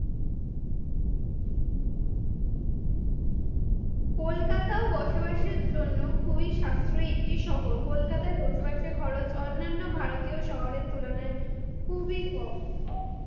কলকাতাও বসবাসের জন্য খুবই সাশ্রয়ী একটি শহর, কলকাতায় বসবাসের খরচ অন্যান্য ভারতীয় শহরের তুলনায় খুবই কম,